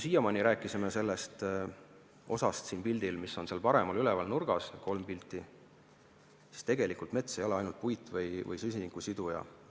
Siiamaani rääkisime me sellest osast siin slaidil, mis on üleval paremal nurgas – need kolm pilti –, kuid tegelikult ei ole mets ainult puit või süsinikusiduja.